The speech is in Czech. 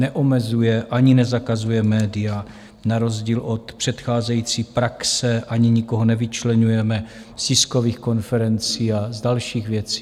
Neomezuje ani nezakazuje média na rozdíl od předcházející praxe ani nikoho nevyčleňujeme z tiskových konferencí a z dalších věcí.